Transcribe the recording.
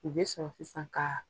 U be sɔrɔ sisan kaa